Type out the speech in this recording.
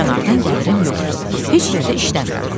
kənardan gəlirim yoxdur, heç yerdə işləmirəm.